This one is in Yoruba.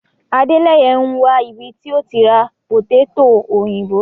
Àdéleyè ń wà ibí tí o ti rá pòtẹ̀tọ̀ oyinbó